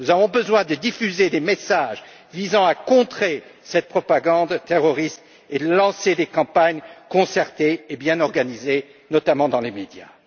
Nous devons diffuser des messages visant à contrer cette propagande terroriste et lancer des campagnes concertées et bien organisées, notamment dans les médias.